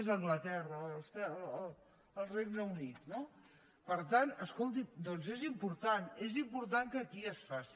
és anglaterra el regne unit no per tant escolti és important és important que aquí es faci